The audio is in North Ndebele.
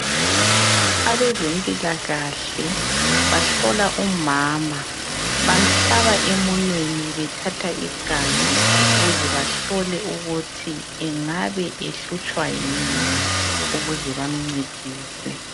Abezempilakahle bahlola umama bamhlaba emunyeni bathatha igazi ukuze bahlole ukuthi angabe ehlutshwa yini ukuze bamcedise.